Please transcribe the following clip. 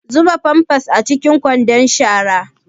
Zuba pampers a cikin kwandon shara.